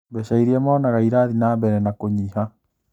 Mbeca irĩa monaga irathiĩ na mbere na kũnyiha